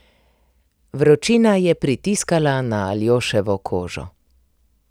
Vročina je pritiskala na Aljoševo kožo.